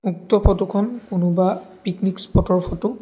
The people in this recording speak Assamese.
উক্ত ফটো খন কোনোবা পিকনিক্ স্পট ৰ ফটো ।